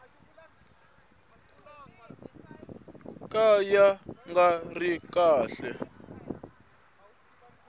ka ya nga ri kahle